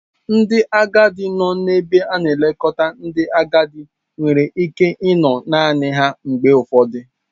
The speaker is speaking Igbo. Ndị agadi nọ n'ebe a na-elekọta ndị agadi nwere ike ịnọ naanị ha mgbe ụfọdụ.